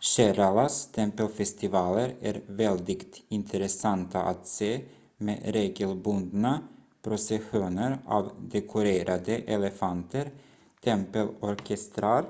keralas tempelfestivaler är väldigt intressanta att se med regelbundna processioner av dekorerade elefanter tempelorkestrar